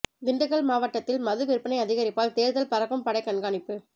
திண்டுக்கல் மாவட்டத்தில் மது விற்பனை அதிகரிப்பால் தேர்தல் பறக்கும் படைகண்காணிப்பு